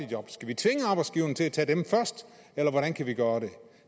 job skal vi tvinge arbejdsgiverne til at tage dem først eller hvordan kan vi gøre det